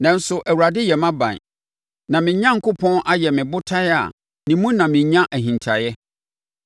Nanso Awurade yɛ mʼaban; na me Onyankopɔn ayɛ ɔbotan a ne mu na menya ahintaeɛ.